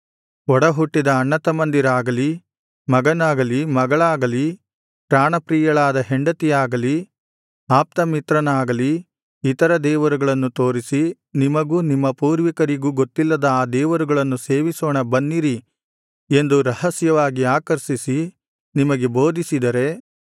ಒಡಹುಟ್ಟಿದ ಅಣ್ಣತಮ್ಮಂದಿರಾಗಲಿ ಮಗನಾಗಲಿ ಮಗಳಾಗಲಿ ಪ್ರಾಣಪ್ರಿಯಳಾದ ಹೆಂಡತಿಯಾಗಲಿ ಆಪ್ತಮಿತ್ರನಾಗಲಿ ಇತರ ದೇವರುಗಳನ್ನು ತೋರಿಸಿ ನಿಮಗೂ ನಿಮ್ಮ ಪೂರ್ವಿಕರಿಗೂ ಗೊತ್ತಿಲ್ಲದ ಆ ದೇವರುಗಳನ್ನು ಸೇವಿಸೋಣ ಬನ್ನಿರಿ ಎಂದು ರಹಸ್ಯವಾಗಿ ಆಕರ್ಷಿಸಿ ನಿಮಗೆ ಬೋಧಿಸಿದರೆ